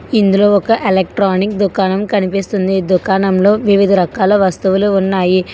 ఇందులో ఒక ఎలక్ట్రానిక్ దుకాణం కనిపిస్తుంది ఇదుకాణంలో వివిధ రకాల వస్తువులు ఉన్నాయి.